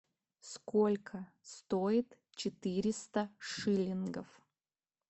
сколько стоит четыреста шиллингов